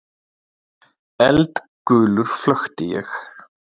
Eldgulur flökti ég.